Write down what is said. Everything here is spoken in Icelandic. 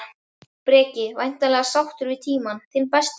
Breki: Væntanlega sáttur við tímann, þinn besti?